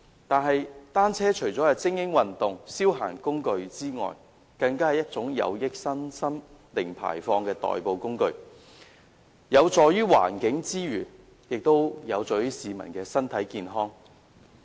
但是，單車除了是精英運動及消閒工具之外，更是一種有益身心及"零排放"的代步工具，有助於環境之餘，亦有助於市民的身體健康。